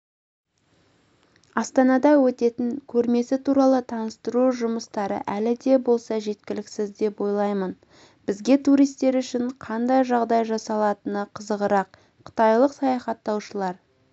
астанада өтетін көрмесі туралы таныстыру жұмыстары әлі де болса жеткіліксіз деп ойлаймын бізге туристер үшін қандай жағдай жасалатыны қызығырақ қытайлық саяхаттаушылар